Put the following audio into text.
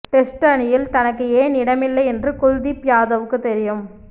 test அணியில் தனக்கு ஏன் இடமில்லை என்று குல்தீப் யாதவுக்குத் தெரியும்